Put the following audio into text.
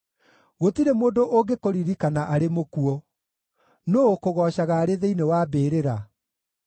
Gũtirĩ mũndũ ũngĩkũririkana arĩ mũkuũ. Nũũ ũkũgoocaga arĩ thĩinĩ wa mbĩrĩra?